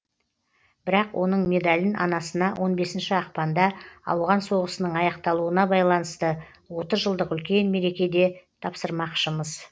бірақ оның медалін анасына он бесінші ақпанда ауған соғысының аяқталуына байланысты отыз жылдық үлкен мерекеде тапсырмақшымыз